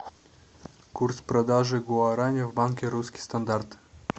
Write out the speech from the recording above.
курс продажи гуарани в банке русский стандарт